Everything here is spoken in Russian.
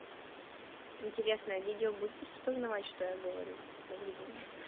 интересное видео будет распознавать что я говорю добрый день